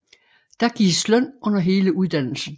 Der gives løn under hele uddannelsen